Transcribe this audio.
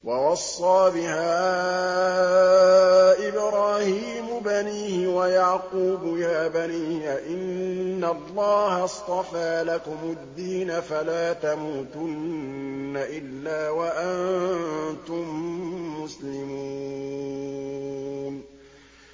وَوَصَّىٰ بِهَا إِبْرَاهِيمُ بَنِيهِ وَيَعْقُوبُ يَا بَنِيَّ إِنَّ اللَّهَ اصْطَفَىٰ لَكُمُ الدِّينَ فَلَا تَمُوتُنَّ إِلَّا وَأَنتُم مُّسْلِمُونَ